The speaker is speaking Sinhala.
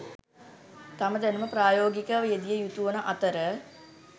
තම දැනුම ප්‍රායෝගිකව යෙදිය යුතුවන අතර